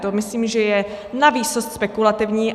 To myslím, že je na výsost spekulativní.